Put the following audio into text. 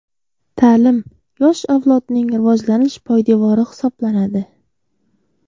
Ta’lim yosh avlodning rivojlanish poydevori hisoblanadi.